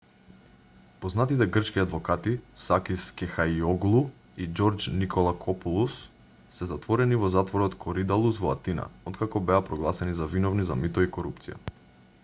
познатите грчки адвокати сакис кехајиоглу и џорџ николакопулос се затворени во затворот коридалус во атина откако беа прогласени за виновни за мито и корупција